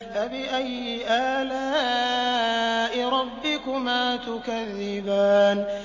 فَبِأَيِّ آلَاءِ رَبِّكُمَا تُكَذِّبَانِ